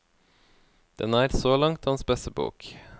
Den er, så langt, hans beste bok.